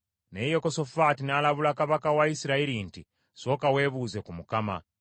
Naye Yekosafaati n’alabula kabaka wa Isirayiri nti, “Sooka weebuuze ku Mukama .”